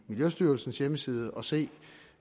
miljøstyrelsens hjemmeside og se